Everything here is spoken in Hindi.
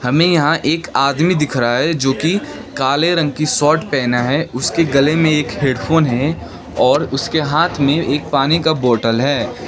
हमें यहां एक आदमी दिख रहा है जोकि काले रंग की शर्ट पहना है उसके गले में एक हेडफोन है और उसके हाथ में एक पानी का बोतल है।